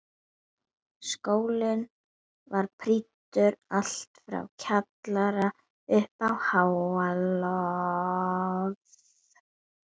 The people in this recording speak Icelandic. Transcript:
Skólinn var prýddur allt frá kjallara upp á háaloft.